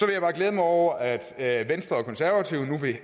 jeg bare glæde mig over at at venstre og konservative nu